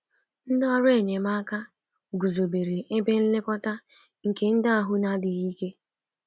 Ndị ọrụ enyemaka guzobere ebe nlekọta nke ndị ahụ na-adịghị ike.